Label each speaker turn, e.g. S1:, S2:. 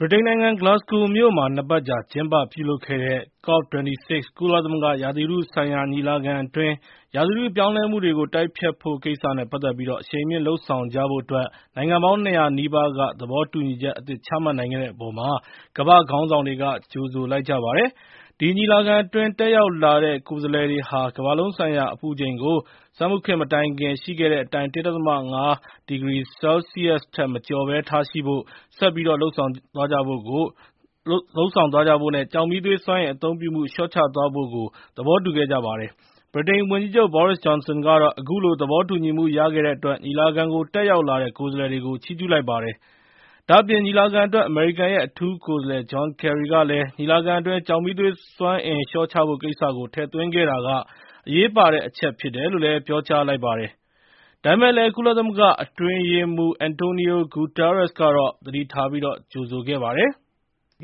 S1: ဗြိတိန်နိုင်ငံ Glasgow မြို့မှာ ၂ ပတ်ကြာ ကျင်းပပြုလုပ်ခဲ့တဲ့ COP26 ကုလသမဂ္ဂ ရာသီဥတုဆိုင်ရာ ညီလာခံအတွင်း ရာသီဥတု ပြောင်းလဲမှုကို တိုက်ဖျက်ဖို့ကိစ္စနဲ့ ပတ်သက်ပြီး အရှိန်မြှင့် လုပ်ဆောင်ကြဖို့အတွက် နိုင်ငံပေါင်း ၂၀၀ နီးပါးက သဘောတူညီချက်အသစ် ချမှတ်နိုင်ခဲ့တဲ့အပေါ်မှာ ကမ္ဘာ့ခေါင်းဆောင်တွေက ကြိုဆို ဂုဏ်ပြုလိုက်ပါတယ်။ ဒီညီလာခံအတွင်း တက်ရောက်လာတဲ့ ကိုယ်စားလှယ်တွေဟာ ကမ္ဘာလုံးဆိုင်ရာ အပူချိန်ကို စက်မှုခေတ်မတိုင်ခင် ရှိခဲ့တဲ့အတိုင်း ၁ ဒသမ ၅ ဒီဂရီ စင်တီဂရိတ်ထက် မကျော်ဘဲ ထားရှိဖို့ ဆက်ပြီးတော့ လုပ်ဆောင်ကြဖို့နဲ့ ကျောက်မီးသွေးစွမ်းအင် အသုံးပြုမှု လျှော့ချသွားဖို့ သဘောတူခဲ့ကြပါတယ်။ ဗြိတိန်ဝန်ကြီးချုပ် Boris Johnson ကတော့ အခုလို သဘောတူညီမှု ရတဲ့အတွက် ညီလာခံကို တက်ရောက်လာတဲ့ ကိုယ်စားလှယ်တွေကို ချီးကျူးလိုက်ပါတယ်။ ဒါ့အပြင် ညီလာခံအတွက် အမေရိကန်ရဲ့ အထူးကိုယ်စားလှယ် John Kerry ကလည်း ညီလာခံအတွင်း ကျောက်မီးသွေးစွမ်းအင် လျှော့ချဖို့ကိစ္စကို ထည့်သွင်းခဲ့တာဟာ အရေးပါတဲ့အချက် ဖြစ်တယ်လို့ ပြောကြားလိုက်ပါတယ်။ ဒါပေမယ့်လည်း ကုလသမဂ္ဂ အတွင်းရေးမှူးချုပ် Antonio Guterres ကတော့ သတိထားပြီး ကြိုဆိုခဲ့ပါတယ်။ “